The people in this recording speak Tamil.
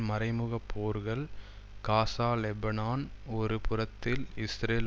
மறைமுகப் போர்கள் காசா லெபனான் ஒரு புறத்தில் இஸ்ரேல்